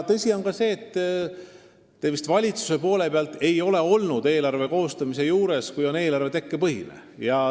Tõsi on ka see, et te ei ole vist valitsuses eelarve koostamise juures olnud siis, kui eelarve on tekkepõhine.